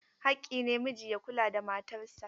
Haƙƙi ne miji ya kula da matarsa.